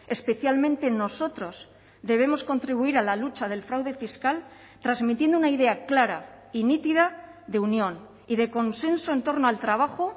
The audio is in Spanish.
especialmente nosotros debemos contribuir a la lucha del fraude fiscal transmitiendo una idea clara y nítida de unión y de consenso en torno al trabajo